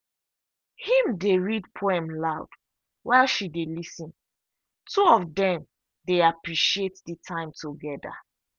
him dey read poem loud while she dey lis ten two of them dey appreciate the time together.